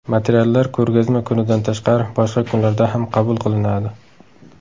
Materiallar ko‘rgazma kunidan tashqari, boshqa kunlarda ham qabul qilinadi.